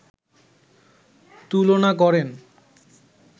তুলনা করেন